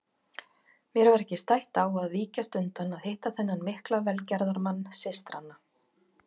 Mér var ekki stætt á að víkjast undan að hitta þennan mikla velgerðamann systranna.